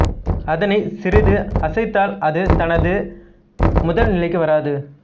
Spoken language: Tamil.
அதனை சிறிது அசைத்தால் அது தனது முதல் நிலைக்கு வராது